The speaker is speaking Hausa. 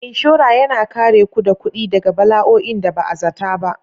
Inshora yana kare ku da kuɗi daga bala'o'in da ba a zata ba.